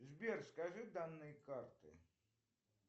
сбер скажи данные карты